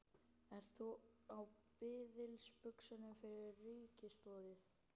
Ert þú á biðilsbuxunum fyrir ríkisaðstoð?